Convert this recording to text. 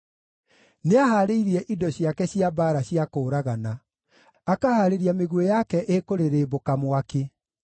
Nĩahaarĩirie indo ciake cia mbaara cia kũũragana; akahaarĩria mĩguĩ yake ĩkũrĩrĩmbũka mwaki.